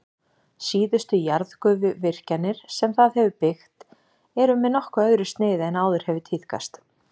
Síðustu jarðgufuvirkjanir sem það hefur byggt eru með nokkuð öðru sniði en áður hefur tíðkast.